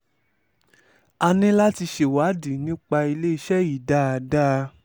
a ní láti ṣèwádìí nípa iléeṣẹ́ yìí dáadáa